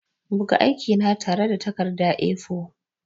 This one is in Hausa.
Buga aikina tare da takarda A4.